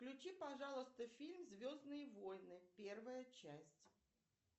включи пожалуйста фильм звездные войны первая часть